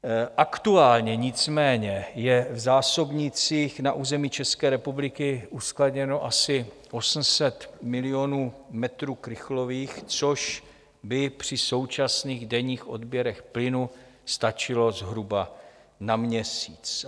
Aktuálně nicméně je v zásobnících na území České republiky uskladněno asi 800 milionů metrů krychlových, což by při současných denních odběrech plynu stačilo zhruba na měsíc.